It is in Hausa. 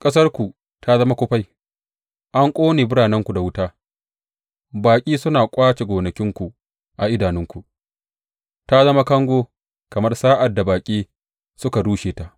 Ƙasarku ta zama kufai, an ƙone biranenku da wuta; baƙi suna ƙwace gonakinku a idanunku, ta zama kango kamar sa’ad da baƙi suka rushe ta.